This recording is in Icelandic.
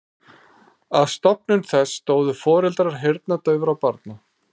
Að stofnun þess stóðu foreldrar heyrnardaufra barna.